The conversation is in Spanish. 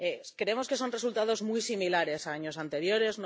Creemos que son resultados muy similares a años anteriores.